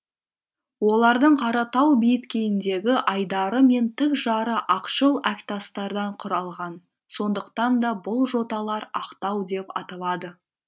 олардың қаратау беткейіндегі айдары мен тік жары ақшыл әктастардан құралған сондықтан да бұл жоталар ақтау деп аталады